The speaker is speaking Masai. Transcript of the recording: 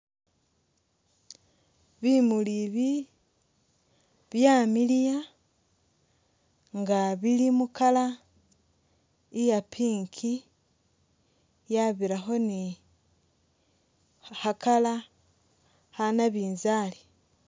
Bimuli ibi byamiliya nga bili mu Colour iya pink, byabirakho ni kha colour kha nabinzaali.